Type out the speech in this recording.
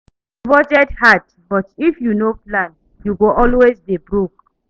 Na who get work fit talk say him wan resign.